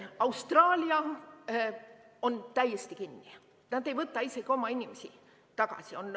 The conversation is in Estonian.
Austraalia on täiesti kinni, nad ei võta isegi oma inimesi tagasi.